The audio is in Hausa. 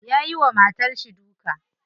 Yayi wa matarshi duka.